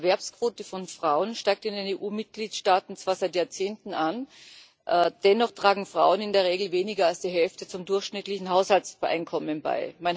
Die Erwerbsquote von Frauen steigt in den EU Mitgliedstaaten zwar seit Jahrzehnten an, dennoch tragen Frauen in der Regel weniger als die Hälfte zum durchschnittlichen Haushaltseinkommen bei.